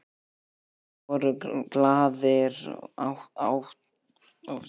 Allir voru glaðir, átu og drukku.